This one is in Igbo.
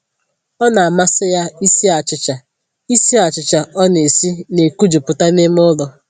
Ọ na-amasị ya isi achịcha, isi achịcha ọ na-esi na-ekojuputa n'ime ụlọ